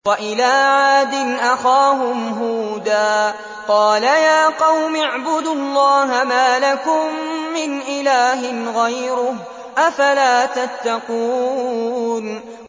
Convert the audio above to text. ۞ وَإِلَىٰ عَادٍ أَخَاهُمْ هُودًا ۗ قَالَ يَا قَوْمِ اعْبُدُوا اللَّهَ مَا لَكُم مِّنْ إِلَٰهٍ غَيْرُهُ ۚ أَفَلَا تَتَّقُونَ